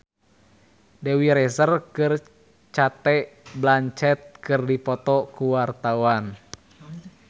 Dewi Rezer jeung Cate Blanchett keur dipoto ku wartawan